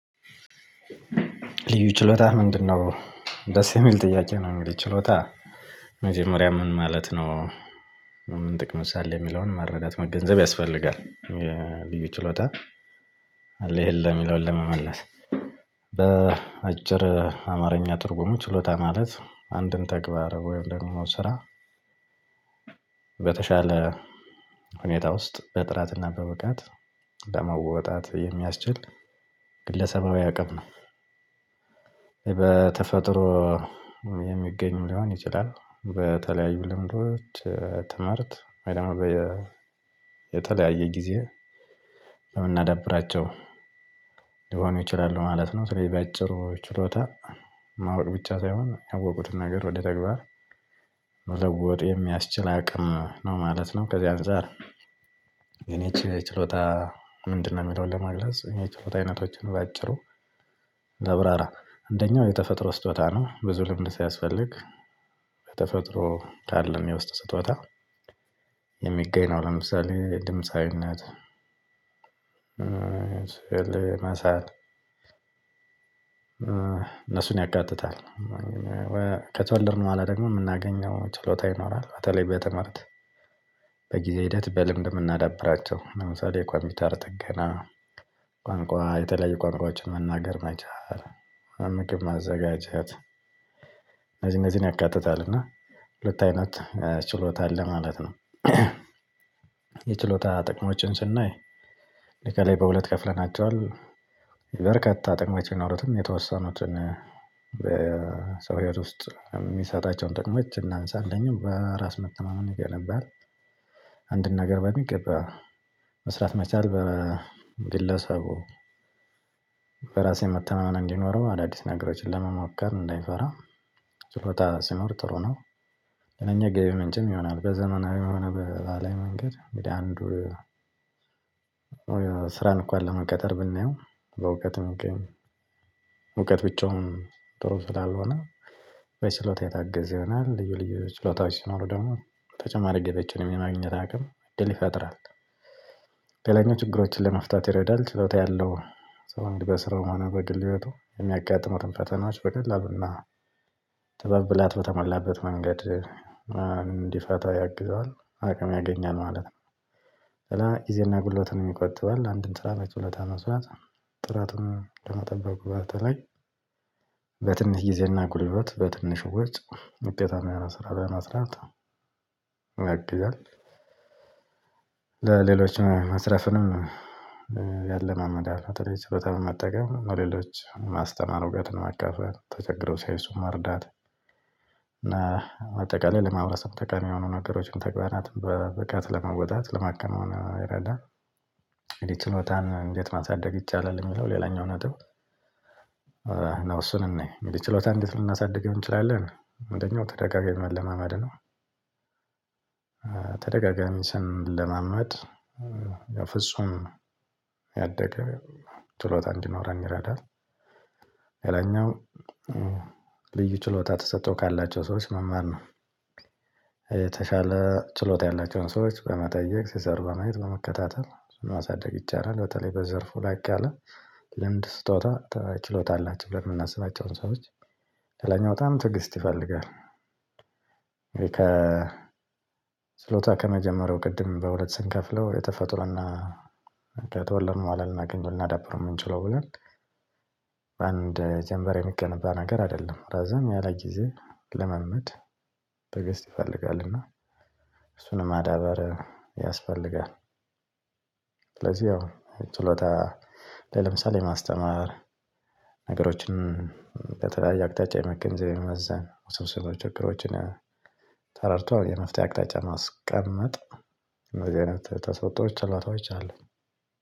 ልዩ ችሎታ ምንድነው? ደስ የሚል ጥያቄ ነው እግዲህ ችሎታ መጀመሪያ ምን ማለት ነው ምን ጥቅምስ አለው የሚለውን መረዳት መገንዘብ ያስፈልጋል የልዩ ችሎታ አለ የለም የሚለው ለመመለስ በአጭር አማርኛ ጥርጉሙ ችሎታ ማለት አንድን ተግባር ወይም ደግሞ ስራ በተሻለ ሁኔታ ውስጥ በጥራት እና በብቃት ለመወጣት የሚያስችል ግለሰባዊ አቅም ነው። በተፈጥሮ የሚገኝ ሊሆን ይችላል በተለያዩ ልምዶች ትምህርት የተለያየ ጊዜ የምናዳብራቸው ሊሆኑ ይችላሉ ማለት ነው ስለዚህ በአጭሩ ችሎታ ማወቅ ብቻ ሳይሆን ያወቁትን ነገር ወደ ተግባር መለወጥ የሚያስችል አቅም ነው ማለት ነው። ከዚህ አንፃር የኔ ይቺ ችሎታ ምንድነው የሚለውን ለመግለጽ የእኔ ችሎታ አይነቶችን በአጭሩ አብራራ አንደኛው የተፈጥሮ ስጦታ ነው ብዙ ልምድ ሲያስፈልግ ከተፈጥሮ ካለን የውስጥ ስጦታ የሚገኝ ነው ለምሳሌ ድምፃዊነት መሳል እሱን ያካትታል። በኋላ ደግሞ ምናገኘው ችሎታ ይኖራል በተለይ በትምህርት በጊዜ ሂደት በልድ ምናዳብራቸው ለምሳሌ ኮምፒውተር ጥገና፣ ቋንቋ የተለያዩ ቋንቋዎችን መናገር መቻል፣ ምግብ ማዘጋጀት እነዚህን እነዚህን ያካትታል እና ሁለት አይነት ችሎታ አለ ማለት ነው። የችሎታ ጥቅሞችን ስናይ ከላይ በሁለት ከፍለናቸዋል የበርካታ ጥቅሞች ቢኖሩትም የተወሰኑትን በሰው ሂይወት ውስጥ የሚሰጣቸውን ጥቅሞች እናንሳለን በራስ መተማመን እገለባለሁ አንድን ነገር በሚገባ መስራት መቻል በግለሰቡ በራስ መተማመን እንዲኖረው አዳዲስ ነገሮችን ለመማከር እንዳይፈራ ችሎታ ሲኖር ጥሩ ነው ሌላኛ የገቢ ምንጭም ይሆናል በዘመናዊ የሆነ በባህላዊ መንገድ እንደ አንዱ ስራን እንኳን ለመቀጠር ብናየው በእውቀትም እውቀት ብቻውን ጥሩ ስላልሆነ በችሎታ የታገዘ ይሆናል ልዩ ልዩ ችሎታዎች ሲኖሩ ደግሞ ተጨማሪ ገብ ምን ማግኘት ገቢዎችን የማግኘት አቅም እድል ይፈጥራል። ሌላኛው ችግሮችን ለመፍታት ይረዳል። ችሎታ ያለው ሰው በስራው ሆነ በግል ሂወቱ የሚያጋጥሙትን ፈተናዎች በግል እና ጥበብ ብላት በተሞላበት መንገድ እንዲፈታው ያግዘዋል፣ አቅም ያገኛል ማለት ነው ስለዚህ ጊዜና ጉልበትን ይቆጥባል አንድን ስራ በችሎታ መስራት ጥራትን ከመጠበቁ በተለይ በትንሽ ጊዜና ጉልበት በትንሽ ወጭ ውጤታማ ስራ ለመስራት ያግዛል። መስረፍንም ያለማመዳል በተለይ ችሎታ በመጠቀም ለሌሎች ማስተማር እውቀትን ማካፈል ተቸግረው ሳይሱ መርዳት እና አጠቃላይ ለማህበረሰብ ጠቃሚ የሆኑ ነገሮችን ተቅባህ ናት በብቃት ለመወጣት ለማከናወን ይረዳል ችሎታን እንዴት ማሳደግ ይቻላል? የሚለው ሌላኛው ነጥብ ነው እሱን እይን ችሎታ እንዴት ልናሳድግ እንችላለን አንደኛው ተደጋጋሚ መለማመድ ነው፣ ተደጋጋሚ ስንለማመድ የፍጹም ያደገ ችሎታ እንዲኖረኝ ይረዳል። ሌላኛው ልዩ ችሎታ ተሰጥቶ ካላቸው ሰዎች መማር ነው። የተሻለ ችሎታ ያላቸውን ሰዎች በመጠየቅ ሲሰሩ በማየት በመከታተል ማሳደግ ይቻላል በተለይ በዘርፉ ላቅ ያለ ለምድ ስጦታ ችሎታ አላቸው ብለን የምናስባቸውን ሰዎች በተለይም በጣም ትዕግስት ይፈልጋል ከ ችሎታ ከመጀመሪያው ቅድም በሁለት ስንትከፍለው የተፈጥሮ እና ከተወለድ በኋላ ልናገኘው ልናዳብረው ልምምድ ይፈልጋል እና እሱን ማዳበር ያስፈልጋል ስለዚህ ያው ችሎታ ለምሳሌ ማስተማር ነገሮችን በተለያየ አቅጣጫ የመገንዘብ የመመዘን ውስብስብ ችግሮችን ተረድቶ የመፍትሄ አቅጣጫ ማስቀመጥ እንደዚህ አይነት ተሰጥቶች ችሎታዎች አሉኝ